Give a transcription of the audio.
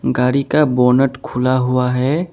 गाड़ी का बोनट खुला हुआ है।